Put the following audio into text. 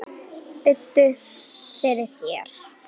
Biddu fyrir þér!